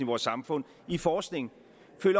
vores samfund i forskning